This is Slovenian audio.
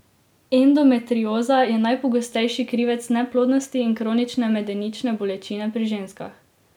Endometrioza je najpogostejši krivec neplodnosti in kronične medenične bolečine pri ženskah.